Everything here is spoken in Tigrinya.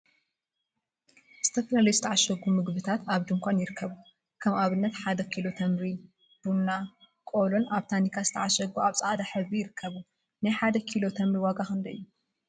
ዝተፈላለዩ ዝተዓሸጉ ምግቢታት አብ ድንኳን ይርከቡ፡፡ ከም አብነት ሓደ ኪሎ ተምሪ፣ ቡና፣ ቆሎን አብ ታኒካ ዝተዓሸጉን አብ ፃዕዳ ሕብሪ ይርከቡ፡፡ ናይ ሓደ ኪሎ ተምሪ ዋጋ ክንደይ እዩ?